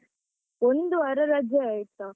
ಒಂದು ವಾರ ರಜೆ ಆಯ್ತಾ.